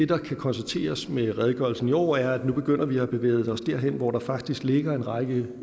kan konstateres med redegørelsen i år er at vi nu begynder at bevæge os derhen hvor der faktisk ligger en række